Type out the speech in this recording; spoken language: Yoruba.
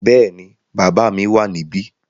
Bẹ́ẹ̀ni, bàbá mi wà níbí.